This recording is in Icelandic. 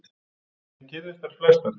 Síðan kyrrðust þær flestar.